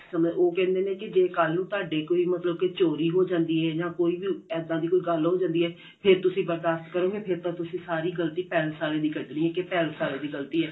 ਸੁਨੇ ਉਹ ਕਹਿੰਦੇ ਨੇ ਕਿ ਜੇ ਕੱਲ ਨੂੰ ਤੁਹਾਡੇ ਕੋਈ ਮਤਲਬ ਕਿ ਚੋਰੀ ਜਾਂਦੀ ਏ ਜਾਂ ਕੋਈ ਇੱਦਾਂ ਦੀ ਗੱਲ ਹੋ ਜਾਂਦੀ ਏ ਫੇਰ ਤੁਸੀਂ ਬਰਦਾਸ਼ਤ ਕਰੋਂਗੇ ਫੇਰ ਤਾਂ ਤੁਸੀਂ ਸਾਰੀ ਗਲਤੀ palace ਵਾਲੇ ਦੀ ਕੱਢਨੀ ਏ ਕੀ palace ਵਾਲੇ ਦੀ ਗਲਤੀ ਏ